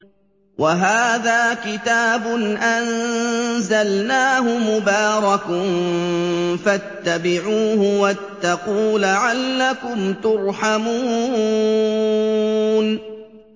وَهَٰذَا كِتَابٌ أَنزَلْنَاهُ مُبَارَكٌ فَاتَّبِعُوهُ وَاتَّقُوا لَعَلَّكُمْ تُرْحَمُونَ